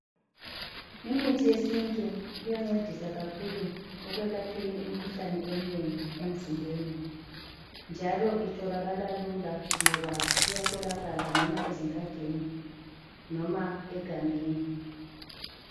Imithi yesintu iyancedisa kakhulu ekwelapheni imikhuhlane eminengi emzimbeni, njalo itholakala lula ngoba iyatholakala noma ezingadini noma egangeni.